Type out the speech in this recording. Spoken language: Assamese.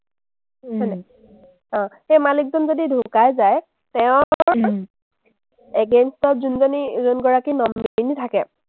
অ, সেই মালিকজন যদি ঢুকাই যায়, তেওঁৰ against ত যোনজনী যোনগৰাকী nominee থাকে,